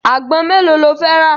Àgbọn mélòó lo fẹ́ rà?